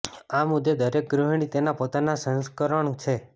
આ મુદ્દે દરેક ગૃહિણી તેના પોતાના સંસ્કરણ છે